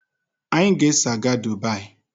Anyị ga-eso gaa Dubaayi.